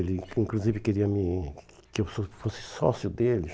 Ele, inclusive, queria me que eu so fosse sócio dele.